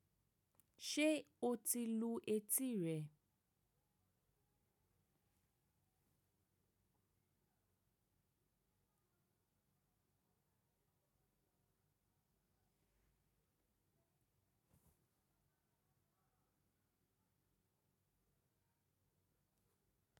Ṣé o ti lu etí rẹ̀?